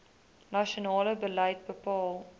nasionale beleid bepaal